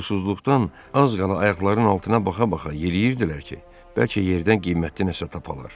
Pulsuzluqdan az qala ayaqlarının altına baxa-baxa yeriyirdilər ki, bəlkə yerdən qiymətli nəsə tapalar.